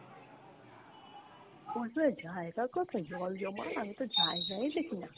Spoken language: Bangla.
জায়গা কোথায় জল জমার, আমিতো জায়গায় দেখি না।